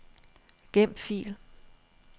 Gem fil.